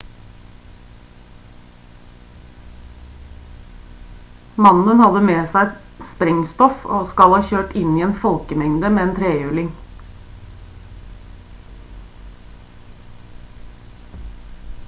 mannen hadde med seg sprengstoff og skal ha kjørt inn i en folkemengde med en trehjuling